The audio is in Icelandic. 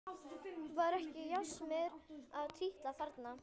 Var ekki járnsmiður að trítla þarna?